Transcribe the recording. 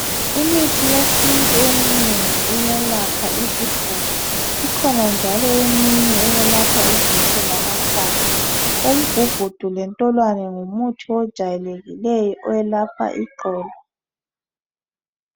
Imithi yesintu eminengi iyelapha isifuba. Ikhona njalo eminye eyelapha izisu lamakhanda umgugudu lentolwane ngumuthi ojwayekileyo oyelapha iqolo.